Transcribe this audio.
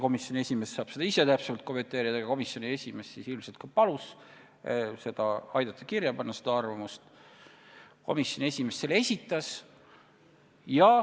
Komisjoni esimees saab seda täpsemalt kommenteerida, aga ilmselt ta ise palus aidata see arvamus kirja panna, sest tema selle esitas.